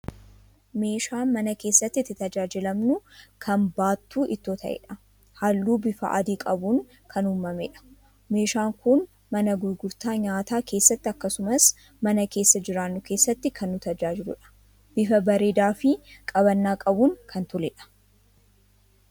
Meeshaa mana keessatti itti tajaajilamnu kan baattuu ittoo ta'edha. Halluu bifa adii qabuun kan uumamedha. meeshaan kun mana gurgurtaa nyaataa keessatti akkasumas mana keessa jiraannu keessatti kan nu tajaajiludha. Bifa bareedaa fi qabannaa qabuun kan toledha.